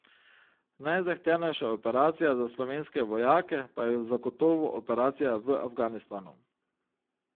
Najzahtevnejša operacija za slovenske vojake pa je zagotovo operacija v Afganistanu.